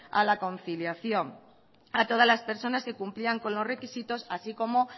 a la conciliación a todas las personas que cumplían con los requisitos así como